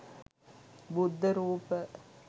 බුද්ධ රූප,